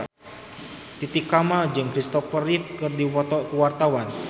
Titi Kamal jeung Kristopher Reeve keur dipoto ku wartawan